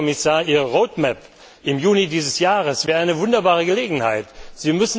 Und, Herr Kommissar, Ihre Roadmap im Juni dieses Jahres wäre eine wunderbare Gelegenheit dazu.